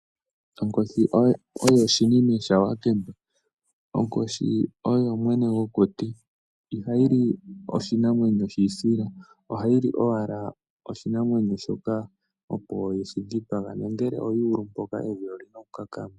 Onkoshi oyo shinime sha wakemba. Onkoshi oyo mwene gwokuti. Iha yi li oshinamwenyo shi isila, oha yi li owala oshinamwenyo shoka opo ye shi dhipaga, nongele oyu ulu mpoka, evi oli na oku kakama.